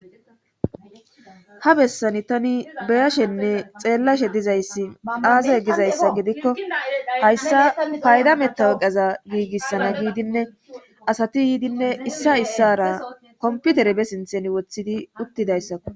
Ha bessani tani beyashenne xeellashe dizayssi aaza gizayssa gidikko hayssa payda meta weqeza giigissana giidinne asati yiidinne issa issara komputere be sinthen woththidi uttidayssako